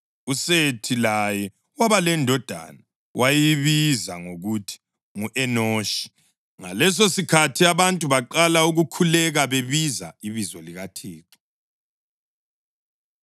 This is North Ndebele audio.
USethi laye waba lendodana, wayibiza ngokuthi ngu-Enoshi. Ngalesosikhathi abantu baqala ukukhuleka bebiza ibizo likaThixo.